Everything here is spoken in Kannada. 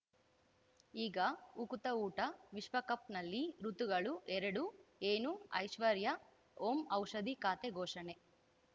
ಈಗ ಉಕುತ ಊಟ ವಿಶ್ವಕಪ್‌ನಲ್ಲಿ ಋತುಗಳು ಎರಡು ಏನು ಐಶ್ವರ್ಯಾ ಓಂ ಔಷಧಿ ಖಾತೆ ಘೋಷಣೆ